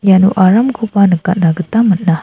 iano aramkoba nikatna gita man·a.